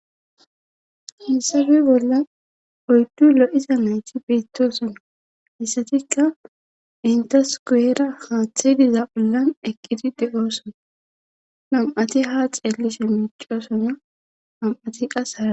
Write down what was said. hiayssappe bolla oyddu lo7isa nayti biittoosonna hessatikka intas guwera haaththe diza ollan eqqidi degoosona nam7ati ha xeellise miicoosona nam7ati qas haa